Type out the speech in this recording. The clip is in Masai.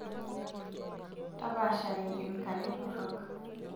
Tapaashare nkemikali torrok.